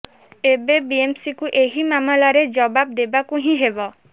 ଏବେ ବିଏମସିକୁ ଏହି ମାମଲାରେ ଜବାବ ଦେବାକୁ ହିଁ ହେବ